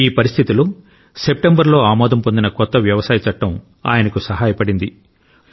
ఈ పరిస్థితిలో సెప్టెంబరులో ఆమోదం పొందిన కొత్త వ్యవసాయ చట్టం ఆయనకు సహాయ పడింది